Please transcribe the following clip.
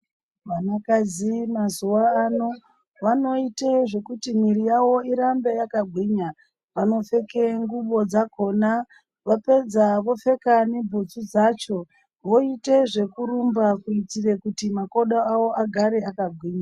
Vanakadzi mazuva ano vanoite zvekuti mwiiri yavo irambe yakagwinya. Vanopfeke ngubo dzakona, vapedza vopfeka nebhutsu dzacho voite zvekurumba kuitire kuti makodo awo agare akagwinya.